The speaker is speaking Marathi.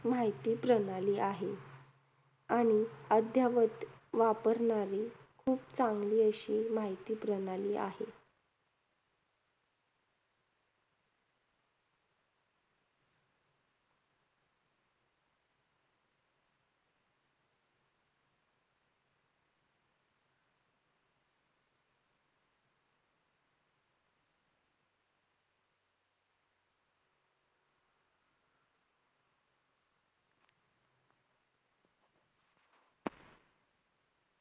माहिती प्रणाली आहे. आणि अध्यावत वापरणारी खूप चांगली अशी माहिती प्रणाली आहे.